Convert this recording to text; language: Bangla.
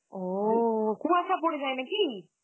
ও... কুয়াশা পড়ে যায় নাকি?